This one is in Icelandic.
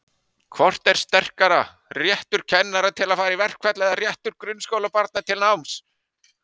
Hvort er sterkara, réttur kennara til að fara í verkfall eða réttur grunnskólabarna til náms?